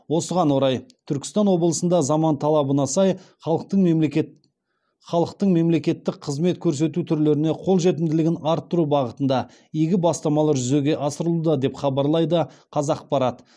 осыған орай түркістан облысында заман талабына сай халықтың мемлекеттік қызмет көрсету түрлеріне қолжетімділігін арттыру бағытында игі бастамалар жүзеге асырылуда деп хабарлайды қазақпарат